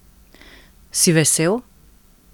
Si vesel?